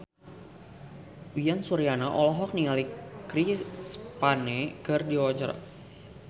Uyan Suryana olohok ningali Chris Pane keur diwawancara